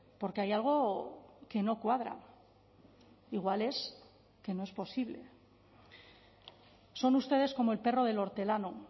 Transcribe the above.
porque hay algo que no cuadra igual es que no es posible son ustedes como el perro del hortelano